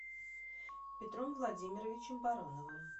петром владимировичем барановым